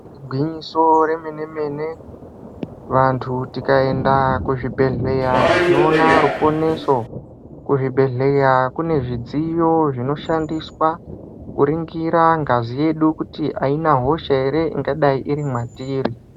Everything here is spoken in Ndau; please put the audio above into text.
Igwinyiso remenemene vantu tikaenda kuzvibhedhlera tinoona ruponeso kuzvibhedhlera kune zvidziyo zvinoshandiswa kuningira kuti ngazi yedu kuti haina hosha here ingadai iri mwatiri .